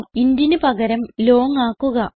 intന് പകരം ലോങ് ആക്കുക